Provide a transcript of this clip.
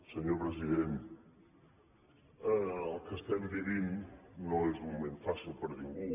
senyor president el que vivim no és un moment fàcil per a ningú